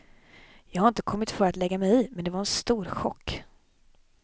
Jag har inte kommit för att lägga mig i, men det var en stor chock.